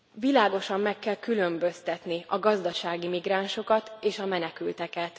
Világosan meg kell különböztetni a gazdasági migránsokat és a menekülteket.